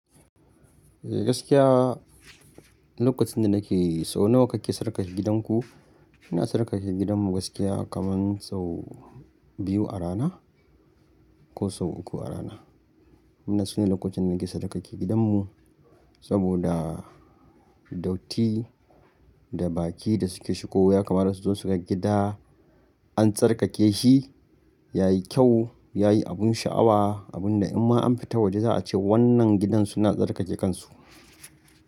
Eh gaskiya lokacin da nake so nawa kake tsarkake gidanku? Ina tsarkake gidanmu gaskiya kaman sau biyu a rana ko sau uku a rana. Wanna sune lokacin da nake tsarkake gidanmu saboda datti da baki da suke shigowa ya kamata su zo su ga gida an tsarkake shi, yayi kyau, yayi abun sha'awa, abunda in ma an fita waje za a ce wannan gidan suna tsarkake kansu.